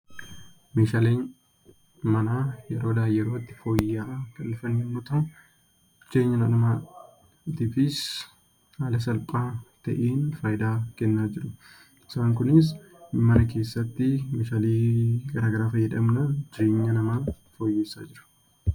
Meeshaaleen manaa yeroodhaa yerootti fooyya'aa kan dhufan yemmuu ta'u, jireenya dhala namaatiifis haala salphaa ta'een fayidaa kennaa jiru. Isaan kunis mana keessatti Meeshaalee garaagaraa fayyadamna jireenya namaa fooyyessa jechuudha.